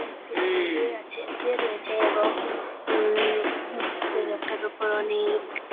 এবং একটি লোক শুয়ে আছে শুয়ে রয়েছে এবং উ-উ-উ সেই লোকটার ওপর অনেক --